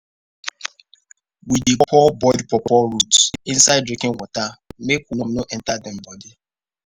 we dey pour boiled pawpaw root inside drinking water make worm no enter dem body.